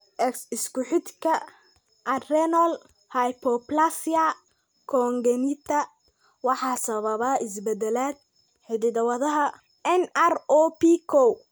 X isku xidhka adrenal hypoplasia congenita waxaa sababa isbeddellada hidda-wadaha NR0B kow.